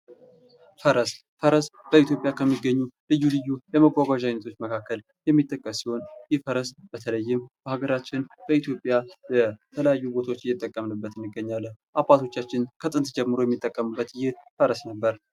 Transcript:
ፈረስ። ፈረስ በኢትዮጵያ ከሚገኙ ልዩ ልዩ መጓጓዣ አይነቶች መካከል የሚጠቀስ ሲሆን፤ ይህ ፈረስ በተለይም በሃገራችን በኢትዮጵያ በተለያዩ ቦታዎች እይተጠቀምንበት እንገኛለን። አባቶቻችን ከጥንት ጀምሮ የሚጠቀሙት ይህ ፈረስ ነበር።